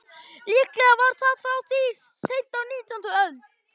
Líklega var það frá því seint á nítjándu öld.